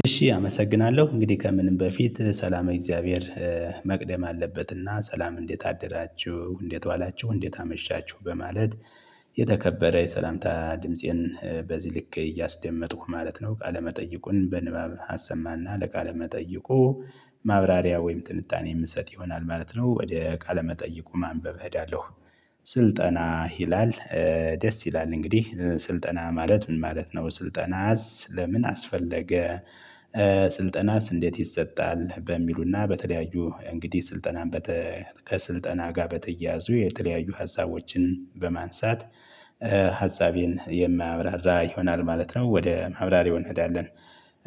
እሺ አመሰግናለሁ እንግዲህ ከምንም በፊት ሰላመ እግዚአብሔር መቅደም አለበትና ሰላም እንዴት አደራችሁ እንዴት ዋላችሁ እንዴት አመሻችሁ በማለት የተከበረ የሰላምታ ድምፄን በዚህ ልክ እያስደመጥኩ ማለት ነው። ቃለመጠይቁን በንባብ አሰማና ለቃለመጠይቁ ማብራሪያ ወይም ትንታኔ የምንሰጥ ይሆናል ማለት ነው። ወደ ቃለመጠይቁ ማንበብ እሄዳለሁ። ስልጠና ይላል። ደስ ይላል እንግዲህ ስልጠና ማለት ምን ማለት ነው? ስልጠናስ ለምን አስፈለገ? ስልጠናስ እንዴት ይሰጣል? በሚሉና በተለያዩ እንግዲህ ስልጠናን በተ ከስልጠና ጋር በተያያዙ የተለያዩ ሀሳቦችን በማንሳት ሀሳቤን የማብራራ ይሆናል ማለት ነው። ወደ ማብራሪው እንሄዳለን።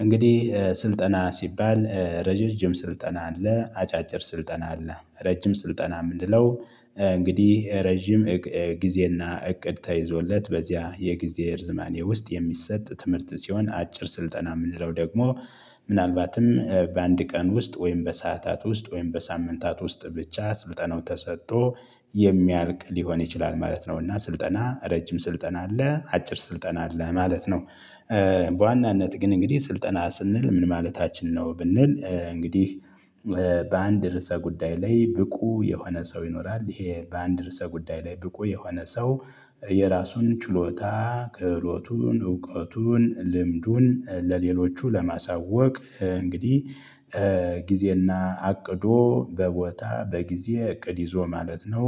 እንግዲህ ስልጠና ሲባል ረጃጅም ስልጠና አለ አጫጭር ስልጠና አለ ረጅም ስልጠና ምንለው? እንግዲህ ረጅም ጊዜና እቅድ ተይዞለት በዚያ የጊዜ ርዝማኔ ውስጥ የሚሰጥ ትምህርት ሲሆን አጭር ስልጠና የምንለው ደግሞ ምናልባትም በአንድ ቀን ውስጥ ወይም በሰአታት ውስጥ ወይም በሳምንታት ውስጥ ብቻ ስልጠናው ተሰጥቶ የሚያልቅ ሊሆን ይችላል። ማለት ነውና ስልጠና ረጅም ስልጠና አለ አጭር ስልጠና አለ ማለት ነው። በዋናነት ግን እንግዲህ ስልጠና ስንል ምን ማለታችን ነው ብንል? እንግዲህ በአንድ ርዕሰ ጉዳይ ላይ ብቁ የሆነ ሰው ይኖራል ይሄ በአንድ ርዕሰ ጉዳይ ላይ ብቁ የሆነ ሰው የራሱን ችሎታ ክህሎቱን እውቀቱን ልምዱን ለሌሎቹ ለማሳወቅ እንግዲህ ጊዜና አቅዶ በቦታ በጊዜ እቅድ ይዞ ማለት ነው።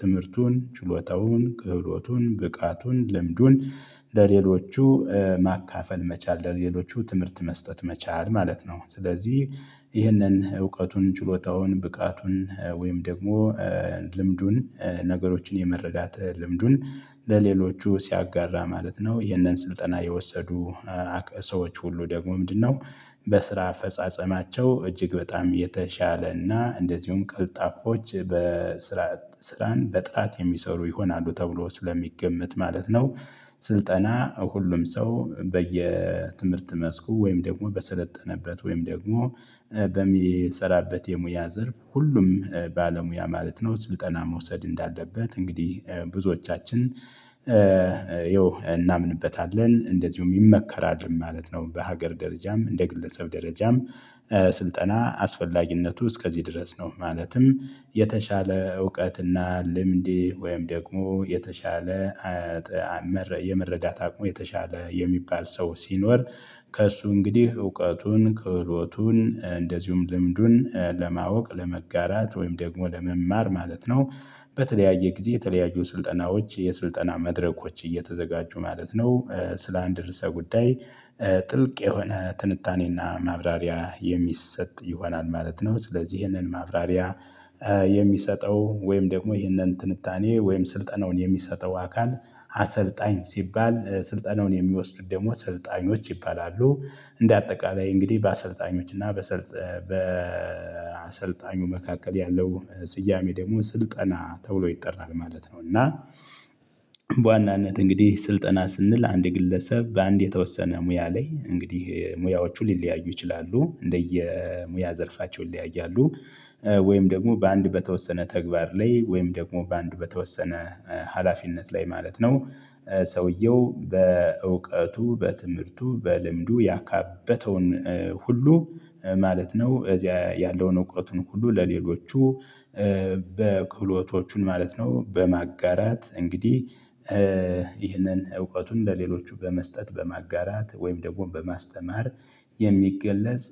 ትምህርቱን ችሎታውን ክህሎቱን ብቃቱን ልምዱን ለሌሎቹ ማካፈል መቻል ለሌሎቹ ትምህርት መስጠት መቻል ማለት ነው። ስለዚህ ይህንን እውቀቱን ችሎታውን ብቃቱን ወይም ደግሞ ልምዱን ነገሮችን የመረዳት ልምዱን ለሌሎቹ ሲያጋራ ማለት ነው። ይህንን ስልጠና የወሰዱ ሰዎች ሁሉ ደግሞ ምንድነው? በስራ አፈጻጸማቸው እጅግ በጣም የተሻለና እንደዚሁም ቀልጣፎች በስራ ስራን በጥራት የሚሰሩ ይሆናሉ ተብሎ ስለሚገመት ማለት ነው። ስልጠና ሁሉም ሰው በየትምህርት መስኩ ወይም ደግሞ በሰለጠነበት ወይም ደግሞ በሚሰራበት የሙያ ዘርፍ ሁሉም ባለሙያ ማለት ነው ስልጠና መውሰድ እንዳለበት። እንግዲህ ብዙዎቻችን ያው እናምንበታለን እንደዚሁም ይመከራል ማለት ነው። በሀገር ደረጃም እንደ ግለሰብ ደረጃም ስልጠና አስፈላጊነቱ እስከዚህ ድረስ ነው። ማለትም የተሻለ እውቀትና ልምድ ወይም ደግሞ የተሻለ የመረዳት አቅሙ የተሻለ የሚባል ሰው ሲኖር ከእሱ እንግዲህ እውቀቱን ክህሎቱን እንደዚሁም ልምዱን ለማወቅ ለመጋራት ወይም ደግሞ ለመማር ማለት ነው። በተለያየ ጊዜ የተለያዩ ስልጠናዎች የስልጠና መድረኮች እየተዘጋጁ ማለት ነው። ስለ አንድ ርዕሰ ጉዳይ ጥልቅ የሆነ ትንታኔና ማብራሪያ የሚሰጥ ይሆናል ማለት ነው። ስለዚህ ይህንን ማብራሪያ የሚሰጠው ወይም ደግሞ ይህንን ትንታኔ ወይም ስልጠናውን የሚሰጠው አካል አሰልጣኝ ሲባል ስልጠናውን የሚወስዱት ደግሞ ሰልጣኞች ይባላሉ። እንደ አጠቃላይ እንግዲህ በአሰልጣኞች እና በአሰልጣኙ መካከል ያለው ስያሜ ደግሞ ስልጠና ተብሎ ይጠራል ማለት ነው። እና በዋናነት እንግዲህ ስልጠና ስንል አንድ ግለሰብ በአንድ የተወሰነ ሙያ ላይ እንግዲህ ሙያዎቹ ሊለያዩ ይችላሉ እንደየ ሙያ ዘርፋቸው ይለያያሉ። ወይም ደግሞ በአንድ በተወሰነ ተግባር ላይ ወይም ደግሞ በአንዱ በተወሰነ ሀላፊነት ላይ ማለት ነው። ሰውየው በእውቀቱ በትምህርቱ በልምዱ ያካበተውን ሁሉ ማለት ነው። እዚያ ያለውን እውቀቱን ሁሉ ለሌሎቹ በክህሎቶቹን ማለት ነው። በማጋራት እንግዲህ ይህንን እውቀቱን እንደሌሎቹ በመስጠት በማጋራት ወይም ደግሞ በማስተማር የሚገለጽ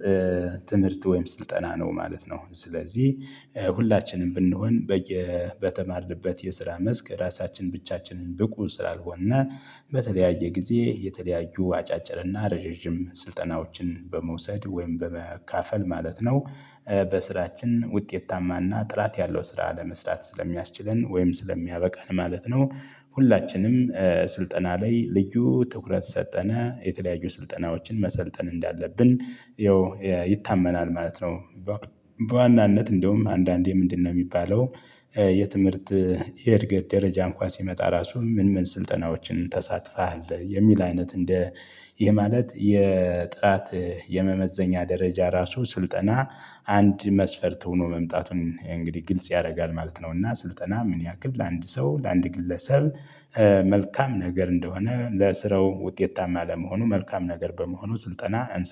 ትምህርት ወይም ስልጠና ነው ማለት ነው። ስለዚህ ሁላችንም ብንሆን በየ በተማርንበት የስራ መስክ ራሳችን ብቻችንን ብቁ ስላልሆነ በተለያየ ጊዜ የተለያዩ አጫጭር እና ረዣዥም ስልጠናዎችን በመውሰድ ወይም በመካፈል ማለት ነው። በስራችን ውጤታማና ጥራት ያለው ስራ ለመስራት ስለሚያስችለን ወይም ስለሚያበቃን ማለት ነው። ሁላችንም ስልጠና ላይ ልዩ ትኩረት ሰጠነ የተለያዩ ስልጠናዎችን መሰልጠን እንዳለብን ያው ይታመናል ማለት ነው። በዋናነት እንደውም አንዳንዴ ምንድነው የሚባለው? የትምህርት የእድገት ደረጃ እንኳን ሲመጣ ራሱ ምን ምን ስልጠናዎችን ተሳትፋሀል የሚል አይነት እንደ ይሄ ማለት የጥራት የመመዘኛ ደረጃ ራሱ ስልጠና አንድ መስፈርት ሆኖ መምጣቱን እንግዲህ ግልጽ ያደርጋል ማለት ነው። እና ስልጠና ምን ያክል ለአንድ ሰው ለአንድ ግለሰብ መልካም ነገር እንደሆነ ለስራው ውጤታማ ለመሆኑ መልካም ነገር በመሆኑ ስልጠና